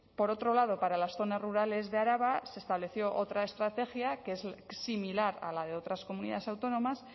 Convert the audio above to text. por otro lado para las zonas rurales de araba se estableció otra estrategia que es similar a la de otras comunidades autónomas